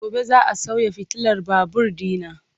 Gobe ​​za a sauya fitilar babur dina.